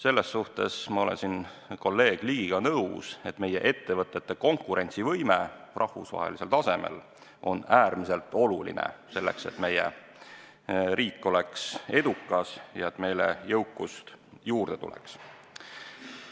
Ma olen selles osas kolleeg Ligiga nõus, et meie ettevõtete konkurentsivõime rahvusvahelisel tasemel on äärmiselt oluline, kui me tahame, et meie riik oleks edukas ja et meile jõukust juurde tuleks.